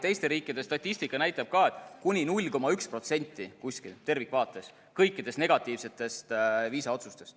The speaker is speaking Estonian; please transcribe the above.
Teiste riikide statistika näitab ka, et kuni 0,1% tervikvaates kõikidest negatiivsetest viisaotsustest.